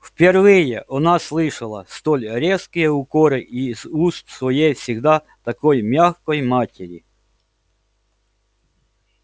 впервые она слышала столь резкие укоры из уст своей всегда такой мягкой матери